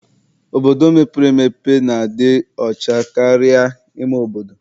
Obodo mepere emepe na-adị ọcha karịa ime obodo.